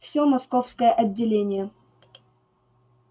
всё московское отделение